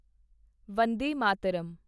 Vande Mataram